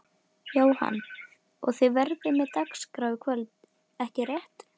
Jóhann: Og þið verðið með dagskrá í kvöld ekki rétt?